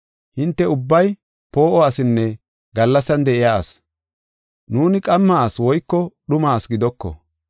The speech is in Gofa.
Hinte ubbay poo7o asinne gallasan de7iya asi; nuuni qamma asi woyko dhuma asi gidoko.